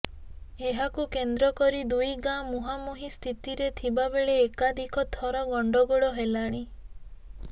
ଏହାକୁ କେନ୍ଦ୍ର କରି ଦୁଇ ଗାଁ ମୁହାଁମୁହିଁ ସ୍ଥିତିରେ ଥିବା ବେଳେ ଏକାଧିକ ଥର ଗଣ୍ଡଗୋଳ ହେଲାଣି